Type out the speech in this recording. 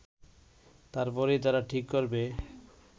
তারপরেই তারা ঠিক করবে